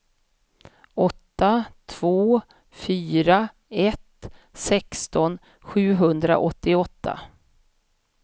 åtta två fyra ett sexton sjuhundraåttioåtta